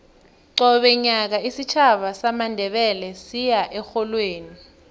qobe nyaka isitjhaba samandebele siya erholweni